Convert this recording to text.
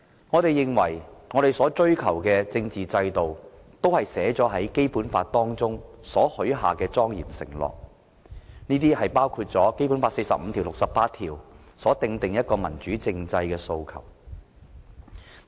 我們所追求的政治制度，是在《基本法》中許下的莊嚴承諾，包括第四十五條及第六十八條所訂的民主政制訴求。